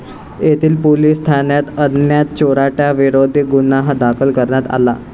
येथील पोलिस ठाण्यात अज्ञात चोरटय़ांविरोधात गुन्हा दाखल करण्यात आला.